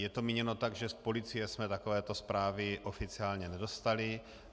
Je to míněno tak, že z policie jsme takovéto zprávy oficiálně nedostali.